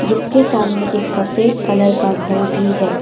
इसके सामने एक सफेद कलर का घर भी है।